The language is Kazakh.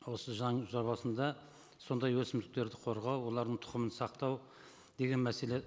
осы заң жобасында сондай өсімдіктерді қорғау олардың тұқымын сақтау деген мәселе